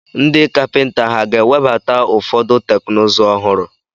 Ndị kapịnta ha ga-ewebata ụfọdụ teknụzụ ọhụrụ?